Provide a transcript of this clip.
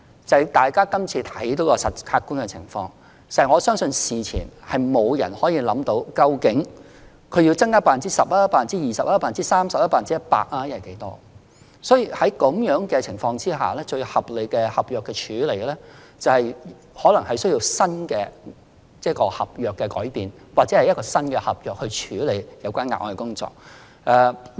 就今次的客觀情況而言，我相信事前沒有人可以決定究竟他們要增加 10%、20%、30%、100% 或某個百分比的人手，所以，在這種情況下，最合理的合約處理方法，可能需要改變合約內容或擬訂新合約來處理有關的額外工作。